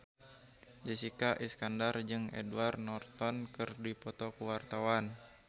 Jessica Iskandar jeung Edward Norton keur dipoto ku wartawan